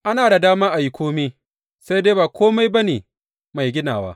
Ana da dama a yi kome sai dai ba kome ba ne mai ginawa.